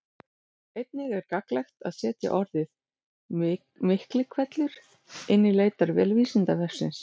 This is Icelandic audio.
Einnig er gagnlegt að setja orðið Miklihvellur inn í leitarvél Vísindavefsins.